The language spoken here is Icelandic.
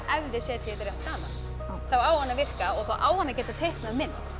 ef þið setið þetta rétt saman þá á hann að virka og þá á hann að geta teiknað mynd